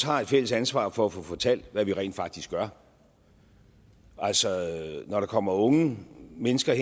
har et fælles ansvar for at få fortalt hvad vi rent faktisk gør altså når der kommer unge mennesker i